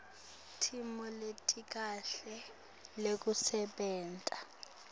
timo letikahle tekusebenta